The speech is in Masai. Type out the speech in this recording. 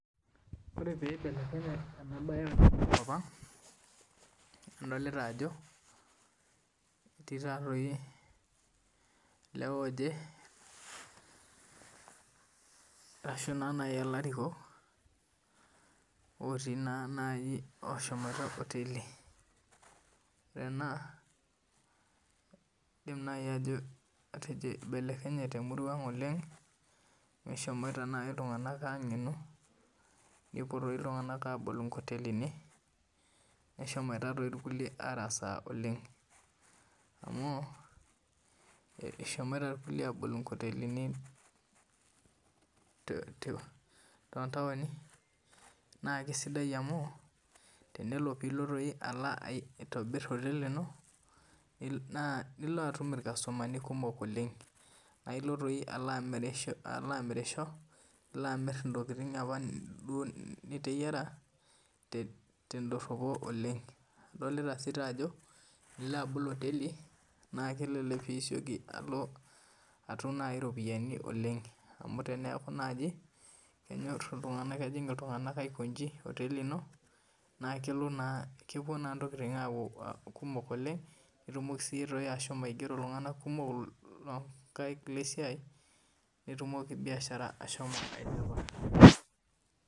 ore pee eibelekenye ena mbae tenkop ang adolita Ajo etii elewa oje ashu elarikok otii naaji oshomoite oteli ore ena edim naaji atejo eibelekenye temurua ang oleng amu eshomoite iltung'ana ang'enu nepuo iltung'ana abol nkotelini nehomoite doi irkulikae arasaa oleng amu eshomoite irkulie abol nkotelini too[ntaoni naa kisidai amu tenilo peloo aitobir oteli eno naa elo atum irkastomani kumok oleng naa elo doi amirisho elo amir entokitin apa duo niteyiara tedoropo oleng adolita sii Ajo tenilo abol oteli naa esioki naaji alo atum eropiani oleng amu teneku naaji kejig iltung'ana aikoji oteli eno naa kepuo naa entokitin aaku kumok oleng nitumoki ashomo aigero iltung'ana kumok loo nkaik lee siai netumoki biashara ashomo ailepa